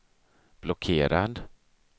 blockerad